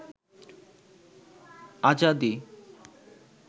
আজাদী